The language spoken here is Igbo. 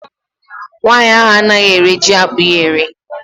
Nwaanyị ahụ anaghị ere jiakpụ ya ere